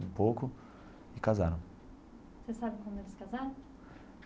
Um pouco e casaram. Você sabe como eles casaram?